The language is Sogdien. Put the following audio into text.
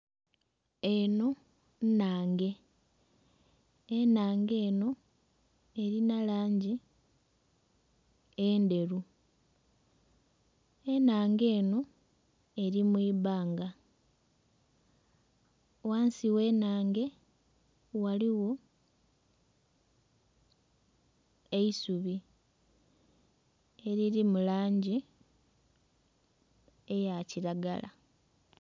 Enho nnhange. Ennhange enho erina langi endheru. Ennhange enho eri mu ibbanga. Ghansi w'ennhange waliwo eisubi eliri mu langi eya kiragala